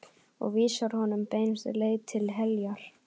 Og vísar honum beinustu leið til heljar.